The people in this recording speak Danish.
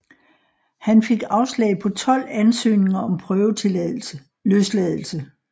Han fik afslag på 12 ansøgninger om prøveløsladelse